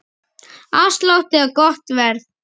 Afslátt eða gott verð?